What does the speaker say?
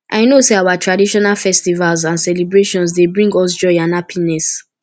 i know say our traditional festivals and celebrations dey bring us joy and happiness